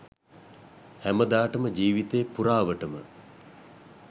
හැමදාටම ජීවිතේ පුරාවටම